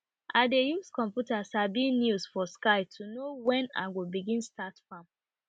i dey use computer sabi news for sky to know wen i go begin start farm